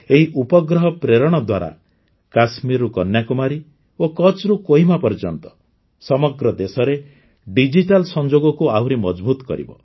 ଏହି ଉପଗ୍ରହ ପ୍ରେରଣ ଦ୍ୱାରା କାଶ୍ମୀରରୁ କନ୍ୟାକୁମାରୀ ଓ କଚ୍ଛରୁ କୋହିମା ପର୍ଯ୍ୟନ୍ତ ସମଗ୍ର ଦେଶରେ ଡିଜିଟାଲ୍ ସଂଯୋଗକୁ ଆହୁରି ମଜଭୁତ କରିବ